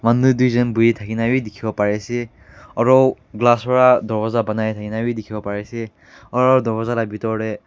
Manu duijun buhi thakeyna bhi dekhivo parey ase aro glass para dowarja banai thakyna bhi dekhove parey ase aro dowarja la bethor dae.